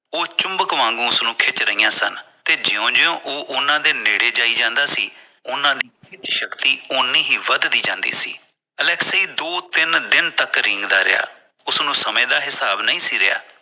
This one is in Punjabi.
ਉਹ ਚੁਮਬਕ ਵਾਂਗੂ ਉਸਨੂੰ ਖਿੱਚ ਰਹੀ ਸਨ ਤੇ ਜੋ ਜੋ ਉਹ ਉਹਨਾਂ ਦੇ ਨੇੜੇ ਜਾਈ ਜਾਂਦਾ ਸੀ ਉਹਨਾਂ ਦੀ ਸ਼ਕਤੀ ਉਹਨੀ ਹੀ ਵਧਦੀ ਜਾਂਦੀ ਸੀ ਅਲੈਕਸੀ ਦੋ ਤਿੰਨ ਦਿਨ ਤੱਕ ਰੀਂਗਦਾ ਰਿਹਾ ਉਸਨੂੰ ਸਮੇਂ ਦਾ ਹਿਸਾਬ ਨਹੀਂ ਸੀ ਰਿਹਾ